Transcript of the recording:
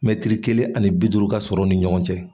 Mɛtiri kelen ani bi duuru ka sɔrɔ o ni ɲɔgɔn cɛ.